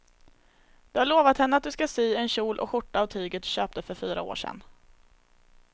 Du har lovat henne att du ska sy en kjol och skjorta av tyget du köpte för fyra år sedan.